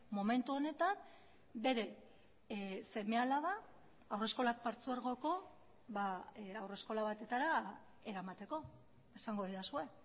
momentu honetan bere seme alaba haurreskolak partzuergoko haurreskola batetara eramateko esango didazue